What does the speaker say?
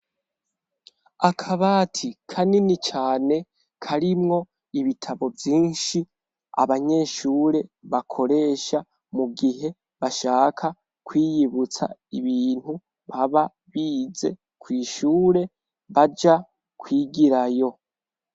Akabati kanini cane karimwo ibitabo vyinshi, abanyeshure bakoresha mu gihe bashaka kwiyibutsa ibintu baba bize kw' ishure baja kwigirayo.